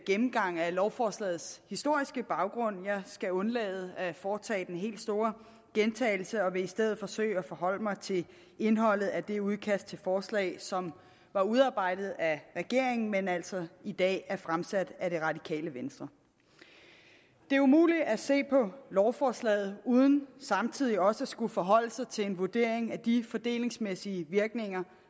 gennemgang af lovforslagets historiske baggrund jeg skal undlade at foretage den helt store gentagelse og vil i stedet forsøge at forholde mig til indholdet af det udkast til forslag som var udarbejdet af regeringen men altså i dag er fremsat af det radikale venstre det er umuligt at se på lovforslaget uden samtidig også at skulle forholde sig til en vurdering af de fordelingsmæssige virkninger